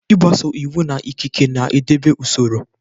Ịgbaso iwu na ikike na-edobe usoro.